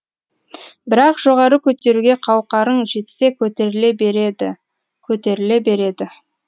бірақ жоғары көтеруге қауқарың жетсе көтеріле береді көтеріле береді